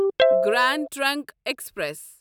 grand Trunk express